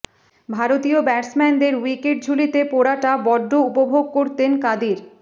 ভারতীয় ব্যাটসম্যানদের উইকেট ঝুলিতে পোরাটা বড্ড উপভোগ করতেন কাদির